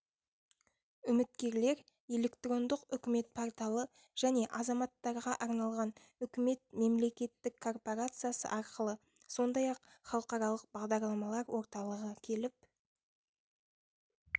үміткерлер электрондық үкімет порталы және азаматтарға арналған үкімет мемлекеттік корпорациясы арқылы сондай-ақ халықаралық бағдарламалар орталығы келіп